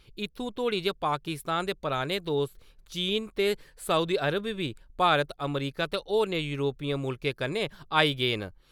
इत्थूं तोड़ी जे पाकिस्तान दे पराने दोस्त चीन ते सऊदी अरब बी भारत, अमरीका ते होरने युरोपी मुल्खें कन्नै आई गे न।